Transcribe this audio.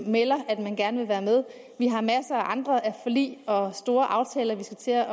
melder at man gerne vil være med vi har masser af andre forlig og store aftaler vi skal til at